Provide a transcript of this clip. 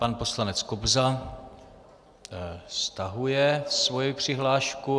Pan poslanec Kobza stahuje svoji přihlášku.